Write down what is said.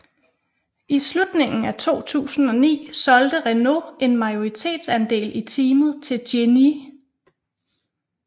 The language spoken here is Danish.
I slutningen af 2009 solgte Renault en majoritetsandel i teamet til Genii